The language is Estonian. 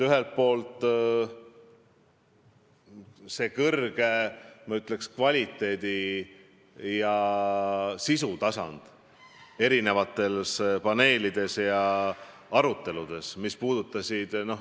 Ühelt poolt viitan arutelude kõrgele kvaliteedile erineva sisuga paneelides.